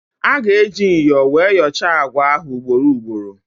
A ga-eji myọ wee yọchaa àgwà ahụ ugboro ugboro.